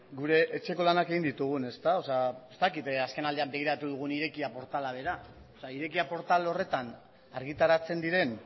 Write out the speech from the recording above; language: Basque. gure etxeko lanak egin ditugun ezta ez dakit azken aldian begiratu dugun irekia portala bera irekia portal horretan argitaratzen diren